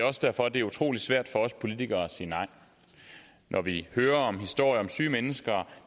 også derfor det er utrolig svært for os politikere at sige nej når vi hører historier om syge mennesker